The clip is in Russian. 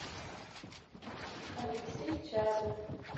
алексей чадов